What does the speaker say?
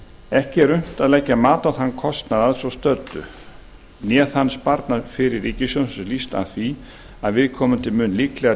ekki er unnt að leggja mat á þann kostnað að svo stöddu né þann sparnað fyrir ríkissjóð sem hlýst af því að viðkomandi mun líklega